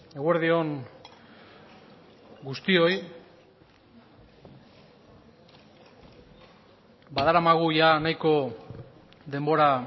eguerdi on guztioi badaramagu nahiko denbora